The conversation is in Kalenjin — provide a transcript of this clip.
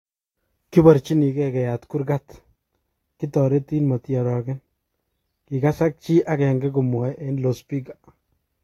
"Kiborchinige keyat kurgat, kitoretin motiorogen," kikasak chi agenge komwoe eng lospika.